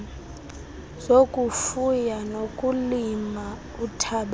zokufuya nokulima uthabatho